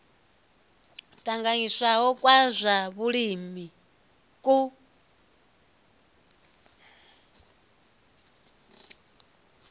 tanganyisiwaho kwa zwa vhulimi ku